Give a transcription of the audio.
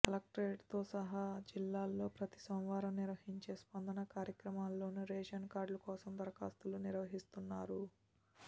కలెక్టరేట్తో సహా జిల్లాలో ప్రతి సోమవారం నిర్వహించే స్పందన కార్యక్రమాల్లోనూ రేషన్ కార్డుల కోసం దరఖాస్తులు స్వీకరిస్తున్నారు